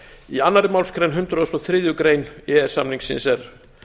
í annarri málsgrein hundrað og þriðju grein e e s samningsins er